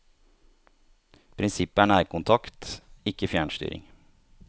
Prinsippet er nærkontakt, ikke fjernstyring.